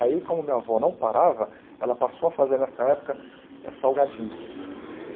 Aí, como minha avó não parava, ela passou a fazer, nessa época, eh salgadinhos.